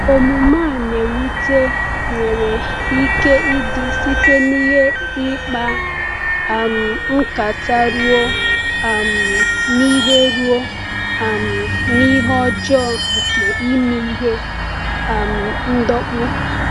Omume a na-ewute nwere ike ịdị site n’ihe ịkpa um nkata ruo um n’ihe ruo um n’ihe ọjọọ nke ime ihe um ndọkpụ.